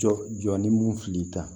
Jɔ jɔ ni mun fili ta